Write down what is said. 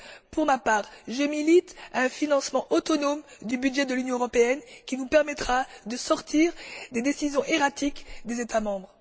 Pour ma part, je milite pour un financement autonome du budget de l'Union européenne qui nous permettra de nous défaire des décisions erratiques des États membres.